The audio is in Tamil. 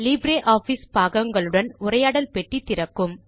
லிப்ரியாஃபிஸ் பாகங்களுடன் உரையாடல் பெட்டி திறக்கும்